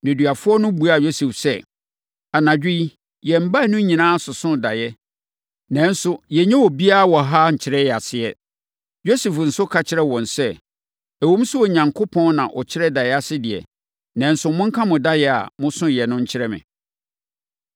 Nneduafoɔ no buaa Yosef sɛ, “Anadwo yi, yɛn baanu nyinaa sosoo daeɛ, nanso yɛnnya obiara wɔ ha nkyerɛ yɛn aseɛ.” Yosef nso ka kyerɛɛ wɔn sɛ, “Ɛwom sɛ Onyankopɔn na ɔkyerɛ daeɛ ase deɛ, nanso monka mo daeɛ a mososoeɛ no nkyerɛ me.”